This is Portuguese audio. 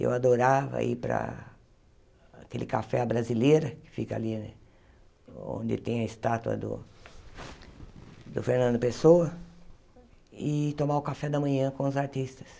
Eu adorava ir para aquele café brasileiro que fica ali, onde tem a estátua do do Fernando Pessoa, e tomar o café da manhã com os artistas.